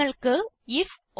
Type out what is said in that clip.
നിങ്ങൾക്ക് ഐഎഫ്